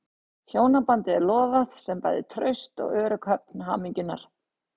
Hjónabandið er lofað sem bæði traust og örugg höfn hamingjunnar.